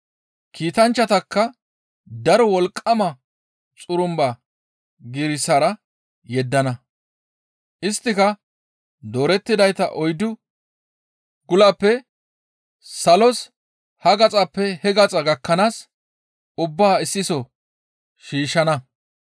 Kiitanchchatakka daro wolqqama xurumba giirissara yeddana. Isttika doorettidayta oyddu gulappe salos ha gaxappe he gaxa gakkanaas ubbaa issiso shiishshana.